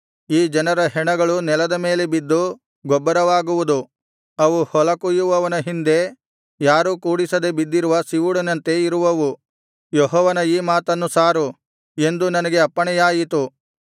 ಈ ಜನರ ಹೆಣಗಳು ನೆಲದ ಮೇಲೆ ಬಿದ್ದು ಗೊಬ್ಬರವಾಗುವುದು ಅವು ಹೊಲ ಕೊಯ್ಯುವವನ ಹಿಂದೆ ಯಾರೂ ಕೂಡಿಸದೆ ಬಿದ್ದಿರುವ ಸಿವುಡಿನಂತೆ ಇರುವವು ಯೆಹೋವನ ಈ ಮಾತನ್ನು ಸಾರು ಎಂದು ನನಗೆ ಅಪ್ಪಣೆಯಾಯಿತು